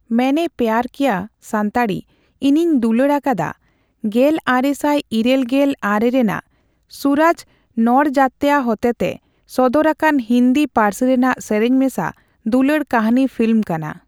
ᱢᱮᱭᱱᱮ ᱯᱭᱟᱨ ᱠᱤᱭᱟ ᱥᱟᱱᱛᱟᱲᱤᱺ ᱤᱧᱤᱧ ᱫᱩᱞᱟᱹᱲ ᱟᱠᱟᱫᱟ ᱜᱮᱞᱟᱨᱮᱥᱟᱭ ᱤᱨᱟᱹᱞ ᱜᱮᱞ ᱟᱨᱮ ᱨᱮᱱᱟᱜ ᱥᱩᱨᱟᱡᱽ ᱱᱚᱲᱡᱟᱛᱭᱟ ᱦᱚᱛᱮᱛᱮ ᱥᱚᱫᱚᱨ ᱟᱠᱟᱱ ᱦᱤᱸᱫᱤ ᱯᱟᱹᱨᱥᱤ ᱨᱮᱱᱟᱜ ᱥᱮᱨᱮᱧ ᱢᱮᱥᱟ ᱫᱩᱞᱟᱹᱲ ᱠᱟᱹᱦᱱᱤ ᱯᱷᱤᱞᱢ ᱠᱟᱱᱟ᱾